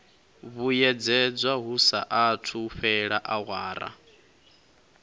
vhuyedzedzwa hu saathu fhela awara